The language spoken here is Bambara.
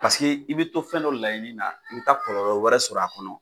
Paseke i bɛ to fɛn dɔ laɲini na i bɛ taa kɔlɔlɔ wɛrɛ sɔrɔ a kɔnɔ.